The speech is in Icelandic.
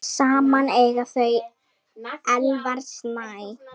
Saman eiga þau Elvar Snæ.